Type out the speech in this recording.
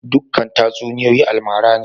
Dukan tatsuniyoyi almara ne?